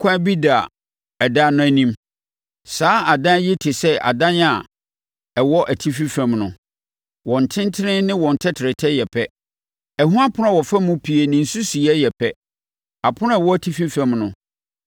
ɛkwan bi da adan no anim. Saa adan yi te sɛ adan a ɛwɔ atifi fam no; wɔn tentene ne wɔn tɛtrɛtɛ yɛ pɛ. Ɛho apono a wɔfa mu pue ne nsusuiɛ yɛ pɛ. Apono a ɛwɔ atifi fam no